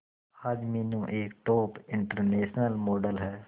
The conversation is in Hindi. आज मीनू एक टॉप इंटरनेशनल मॉडल है